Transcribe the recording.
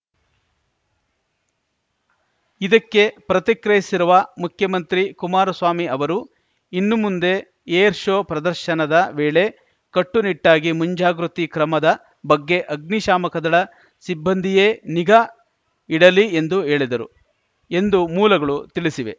ಇದಕ್ಕೆ ಪ್ರತಿಕ್ರಿಯಿಸಿರುವ ಮುಖ್ಯಮಂತ್ರಿ ಕುಮಾರಸ್ವಾಮಿ ಅವರು ಇನ್ನು ಮುಂದೆ ಏರ್‌ ಶೋ ಪ್ರದರ್ಶನದ ವೇಳೆ ಕಟ್ಟು ನಿಟ್ಟಾಗಿ ಮುಂಜಾಗೃತಿ ಕ್ರಮದ ಬಗ್ಗೆ ಅಗ್ನಿಶಾಮಕ ದಳ ಸಿಬ್ಬಂದಿಯೇ ನಿಗಾ ಇಡಲಿ ಎಂದು ಹೇಳಿದರು ಎಂದು ಮೂಲಗಳು ತಿಳಿಸಿವೆ